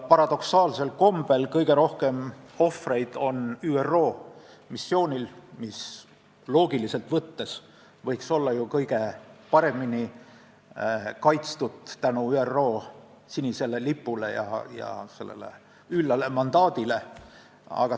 Paradoksaalsel kombel on kõige rohkem ohvreid ÜRO missioonil, mis loogiliselt võttes võiks ju olla kõige paremini kaitstud tänu ÜRO sinisele lipule ja üllale mandaadile.